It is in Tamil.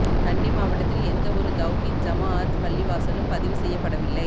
கண்டி மாவட்டத்தில் எந்தவொரு தெளஹீத் ஜமாஅத் பள்ளிவாசலும் பதிவு செய்யப்படவில்லை